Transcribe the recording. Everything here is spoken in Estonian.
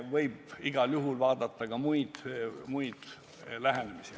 Aga igal juhul võib arutada ka muid lähenemisi.